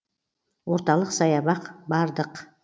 орталық саябақ бардық